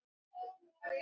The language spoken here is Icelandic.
Þinn vinur Aron.